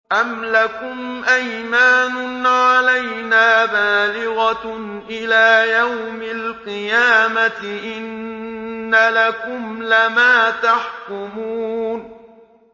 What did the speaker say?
أَمْ لَكُمْ أَيْمَانٌ عَلَيْنَا بَالِغَةٌ إِلَىٰ يَوْمِ الْقِيَامَةِ ۙ إِنَّ لَكُمْ لَمَا تَحْكُمُونَ